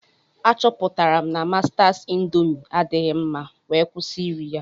Achọpụtara m na Mastas indoomi adighi mma wee kwụsị iri ya.